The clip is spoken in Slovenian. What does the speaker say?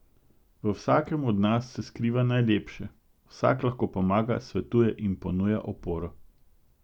V vsakem od nas se skriva najlepše, vsak lahko pomaga, svetuje in ponuja oporo.